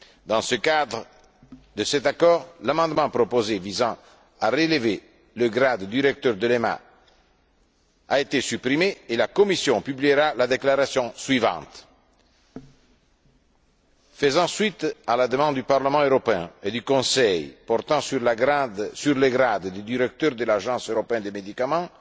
Dans le cadre de cet accord, l'amendement proposé visant à relever le grade du directeur de l'EMA a été supprimé et la Commission publiera la déclaration suivante Faisant suite à la demande du Parlement européen et du Conseil portant sur le grade du directeur de l'Agence européenne des médicaments,